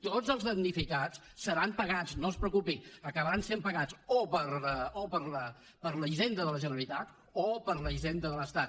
tots els damnificats seran pagats no es preocupi acabaran sent pagats o per la hisenda de la generalitat o per la hisenda de l’estat